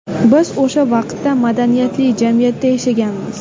Biz o‘sha vaqtda madaniyatli jamiyatda yashaganmiz!